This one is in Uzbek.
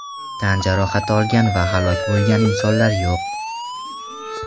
Tan jarohati olgan va halok bo‘lgan insonlar yo‘q.